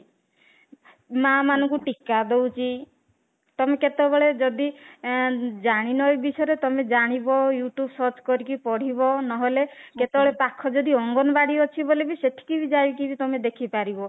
ମା ମାନଙ୍କୁ ଟୀକା ଦଉଛି ତମେ କେତେବେଳେ ଯଦି ଅଂ ଜାଣିନ ଏଇ ବିଷୟରେ ତମେ ଜାଣିବ you tube search କରିକି ପଢିବ ନହେଲେ କେତେ ବେଳେ ପାଖ ଯଦି ଅଙ୍ଗନବାଡି ଅଛି ବୋଲି ବି ସେଠିକି ବି ଯାଇକି `ତମେ ଦେଖିପାରିବ